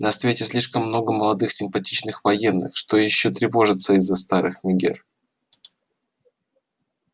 на свете слишком много молодых симпатичных военных чтобы ещё тревожиться из-за старых мегер